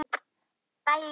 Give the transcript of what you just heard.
Þetta ber svo brátt að.